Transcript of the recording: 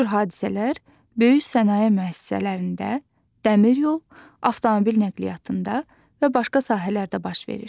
Bu cür hadisələr böyük sənaye müəssisələrində, dəmiryol, avtomobil nəqliyyatında və başqa sahələrdə baş verir.